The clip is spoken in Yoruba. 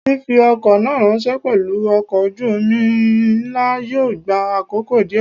Fífi ọkọ̀ náà ráńṣẹ́ pelu ọkọ̀ ojú omi ńlá yóò gba àkókò díè.